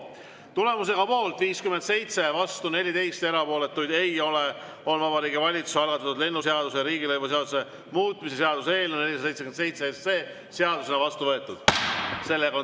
Tulemusega poolt 57, vastu 14 ja erapooletuid ei ole, on Vabariigi Valitsuse algatatud lennundusseaduse ja riigilõivuseaduse muutmise seaduse eelnõu 477 seadusena vastu võetud.